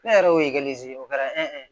Ne yɛrɛ y'o o kɛra